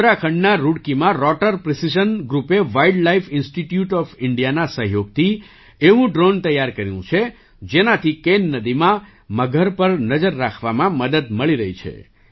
ઉત્તરાખંડના રુડકીમાં rotor precision ગ્રૂપે વાઇલ્ડ લાઇફ ઇન્સ્ટિટ્યૂટ ઑફ ઇન્ડિયાના સહયોગથી એવું ડ્રૉન તૈયાર કર્યું છે જેનાથી કેન નદીમાં મગર પર નજર રાખવામાં મદદ મળી રહી છે